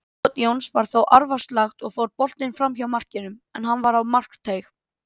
Skot Jóns var þó arfaslakt og fór boltinn framhjá markinu, en hann var á markteig.